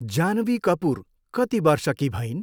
जानवी कपुर कति वर्षकी भइन्?